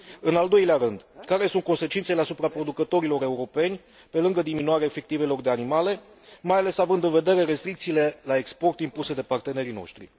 În al doilea rând care sunt consecințele asupra producătorilor europeni, pe lângă diminuarea efectivelor de animale, mai ales având în vedere restricțiile la export impuse de partenerii noștri.